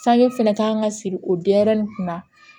Sange fana kan ka siri o denyɛrɛnin kunna